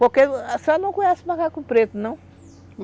Porque, a senhora não conhece macaco preto, não?